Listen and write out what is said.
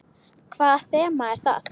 Hvaða þema er það?